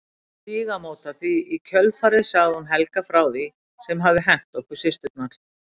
Stígamóta því í kjölfarið sagði hún Helga frá því sem hafði hent okkur systurnar.